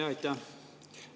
Jaa, aitäh!